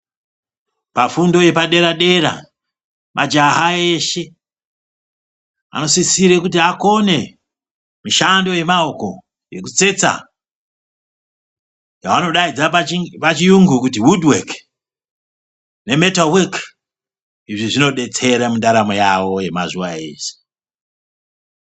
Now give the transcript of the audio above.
Pafundo yepadera-dera, majaha eshe anosisire kuti akone mishando yemaoko yekutsetsa yavanodaidza pachiyungu kuti wudhu weki nemetawo weki, izvi zvinodetsera mundaramo yavo yemazuwa ese.